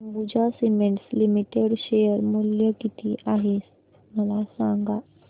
Ambuja cements limited share मूल्य किती आहे मला सांगा